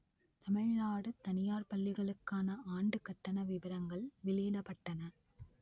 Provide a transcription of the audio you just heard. தமிழ்நாடு தனியார் பள்ளிகளுக்கான ஆண்டுக் கட்டண விபரங்கள் வெளியிடப்பட்டன